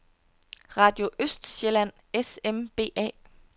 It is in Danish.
Radio Østsjælland S.M.B.A.